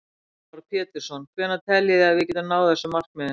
Heimir Már Pétursson: Hvenær teljið þið að við getum náð þessum markmiðum?